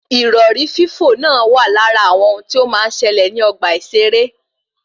Ìrọ̀rí fífò náà wà lára àwọn ohun tí ó máa ń ṣẹlẹ ní ogbà ìseré